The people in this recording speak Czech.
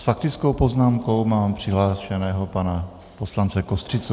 S faktickou poznámkou mám přihlášeného pana poslance Kostřicu.